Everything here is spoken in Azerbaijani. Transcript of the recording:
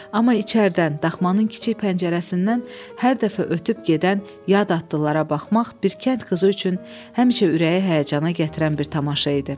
Amma içəridən daxmanın kiçik pəncərəsindən hər dəfə ötüb gedən yad atlılara baxmaq bir kənd qızı üçün həmişə ürəyi həyəcana gətirən bir tamaşa idi.